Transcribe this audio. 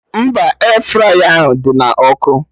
Mba, Air fraya dị na ọkụ